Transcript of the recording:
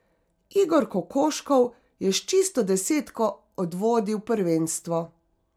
Igor Kokoškov je s čisto desetko odvodil prvenstvo.